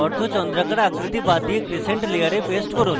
অর্ধচন্দ্রাকার আকৃতি বাদ দিয়ে crescent layer paste করুন